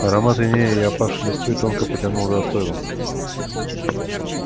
аромат инея и опавшей листвы тонко потянул по стойлам